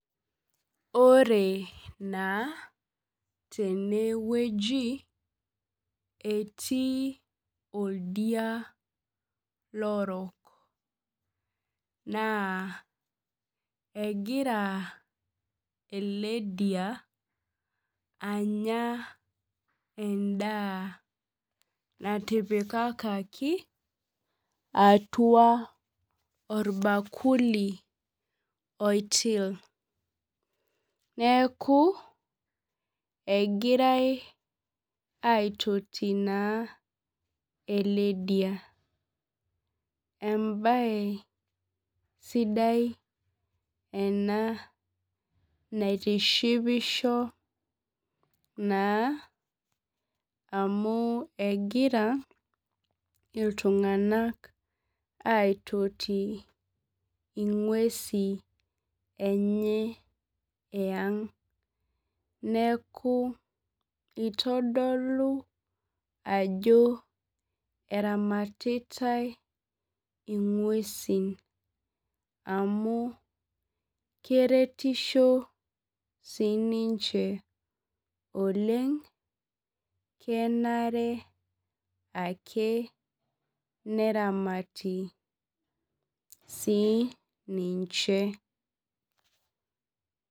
Ore na tenewueji etii oldia lorok na egira eledia anya endaa natipikaki atua orbakuli oitil neaku egirai aitoti ele dia neaku embae sidai ena naitishipisho na amu egira ltunganak aitoti ingwesi enye eang neaku itodolu ajo eramatitae ingwesi amu keretisho sinche oleng kenare ake neramawti sii ninche.